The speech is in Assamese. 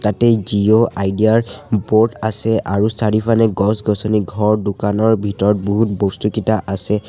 ইয়াতে জিঅ' আইডিয়া ৰ বোৰ্ড আছে আৰু চাৰিউফানে গছ-গছনি ঘৰ দোকানৰ ভিতৰত বহুত বস্তু কিটা আছে।